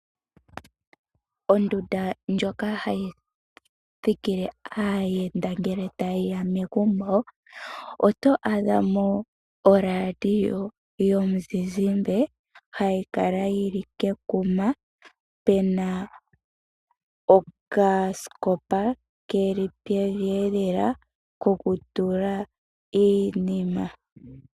Ondunda ndjoka hayi thikile aayenda ngele taye ya megumbo oto adha mo oradio yomuzizimba hayi kala ya tulwa kekuma, pe na okasikopa keli pevi lela kokutula iinima.